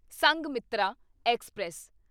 Sanghamitra express